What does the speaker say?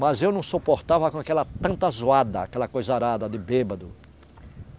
Mas eu não suportava com aquela tanta zoada, aquela coisarada de bêbado.